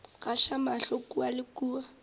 gaša mahlo kua le kua